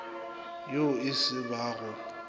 yo e se ba go